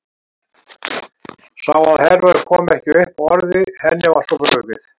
Sá að Hervör kom ekki upp orði, henni var svo brugðið.